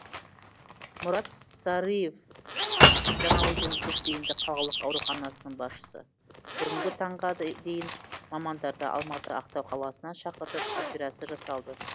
мұрат сарыев жаңаөзен көпбейінді қалалық ауруханасының басшысы бүгінгі таңға дейін мамандарды алматы ақтау қаласынан шақыртып операция жасалды